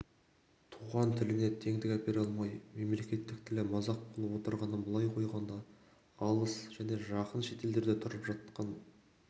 туған тіліне теңдік әпере алмай мемлекеттік тілі мазақ болып отырғанын былай қойғанда алыс және жақын шетелдерде тұрып жатқан